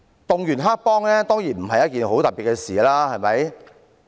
動員黑幫當然不是一件很特別的事，對嗎？